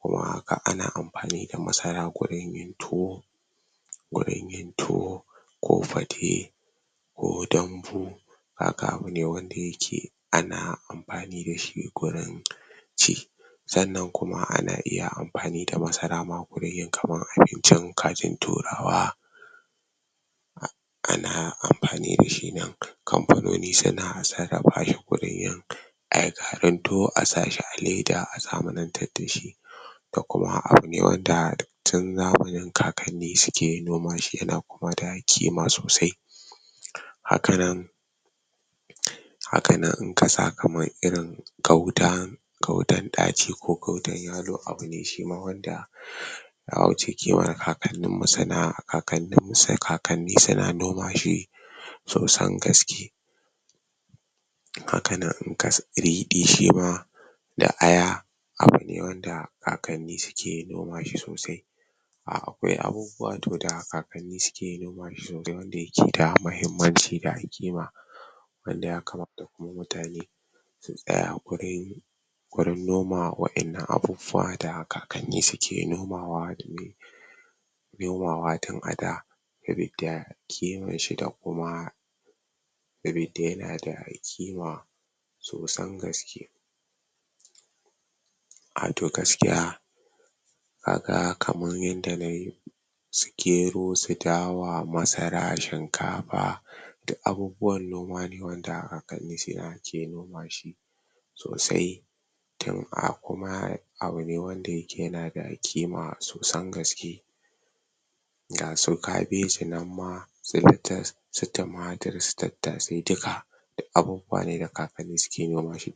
Kuma haka ana anfani da masara gurin yin tuwo gurin yin tuwo ko fate ko dambu Kaga abune wanda ake anfani dashi wurin ci sannan kuma ana iya amfani da masara gurin yin abinci kaji turawa Ana anfani dashi nan kamfanoni suna sarrafashi gurin yin Ayi garin tuwo asashi a leda a zamanantar dashi dakuma abune wanda tun zamani kakanni suke nomashi yana kuma sa kima sosai hakanan Hakanan hakanan idan kasa kaman irin gauta gautan ɗaci ko gautan ƴalo Abune shima wanda shima yawuce kimar kakanni mu sana'a Kakanni suna nomashi sosan gaski Hakanan idan ka sami riɗi shima da aiya abune wanda kakanni suke nomashi sosai Akwai abubuwa da kakanni suke nomashi da yakeda mahimmanci da kima Wanda Yakamata kuma mutane su tsiya kware gurin noma waɗanda abubuwa da kakanni suke nomawa tini nomawa tin ada sabida ƙimashi dakuma dakuma saboda yanada kima sosan gaski ahtoh gaskiya kaga kaman yanda yanda su gero su dawa masara shinkafa duk abubuwan nomane wanda kakanni suna iya nomashi sosai Tun a kuma abune wanda yake yanada ƙima sosan gaski gasu kabejinan ma da latas su tumatir su tattasai dukka duk abubuwa ne da kakanni suke nomashi